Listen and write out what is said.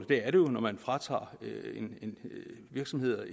det er det jo når man fratager virksomheder